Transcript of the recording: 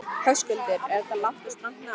Höskuldur: Er þetta langt og strangt nám?